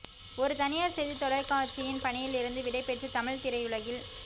ஒரு தனியார் செய்தித் தொலைக்காட்சியின் பணியில் இருந்து விடைபெற்று தமிழ்த் திரையுலகில்